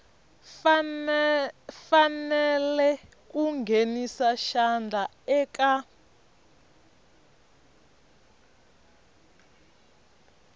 fanele ku nghenisa xandla eka